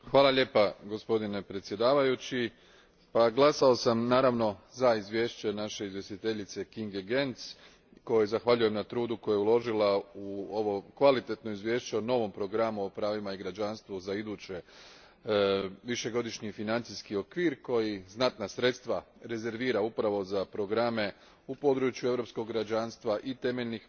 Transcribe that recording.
Gospodine predsjedavajući, glasao sam, naravno, za izvješće naše izvjestiteljice Kinge Göncz, kojoj zahvaljujem na trudu koji je uložila u ovo kvalitetno izvješće o novom programu o pravima i građanstvu za idući višegodišnji financijski okvir koji znatna sredstva rezervira upravo za programe u području europskog građanstva i temeljnih prava.